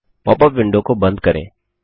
pop up window को बंद करें